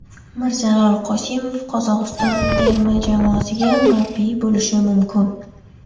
Mirjalol Qosimov Qozog‘iston terma jamoasiga murabbiy bo‘lishi mumkin.